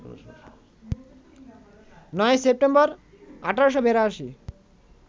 ৯ই September, ১৮৮২